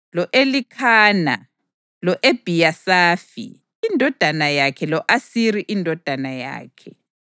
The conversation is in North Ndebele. lo-Elikhana lo-Ebhiyasafi indodana yakhe lo-Asiri indodana yakhe,